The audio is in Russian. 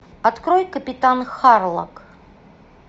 открой капитан харлок